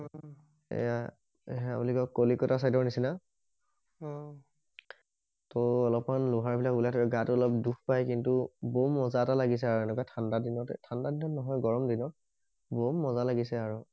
এইয়া হেইয়া বুলি কয় কলিকতা চাইডৰ নিচিনা অহ টো অলপ মান লোহাৰ বিলাক ওলাই থকে গাটো অলপ দুষ পাই কিন্তু বম মজা এটা লাগিছে আৰু এনেকুৱা ঠাণ্ডা দিনতে ঠাণ্ডা দিনত নহয় গৰম দিনত বম মজা লাগিছে আও